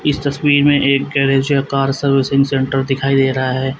इस तस्वीर में एक गैरेज या कार सर्विसिंग सेंटर दिखाई दे रहा है।